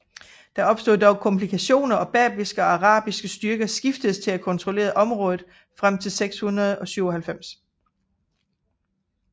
Der opstod dog komplikationer og berbiske og arabiske styrker skiftedes til at kontrollere området frem til 697